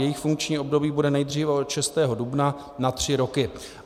Jejich funkční období bude nejdříve od 6. dubna na tři roky.